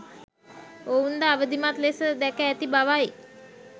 ඔවුන් ද අවිධිමත් ලෙස දැක ඇති බවයි